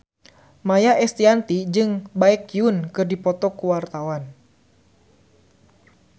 Maia Estianty jeung Baekhyun keur dipoto ku wartawan